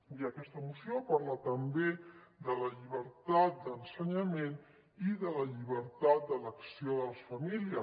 i aquesta moció parla també de la llibertat d’ensenyament i de la llibertat d’elecció de les famílies